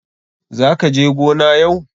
Za ka je gona yau?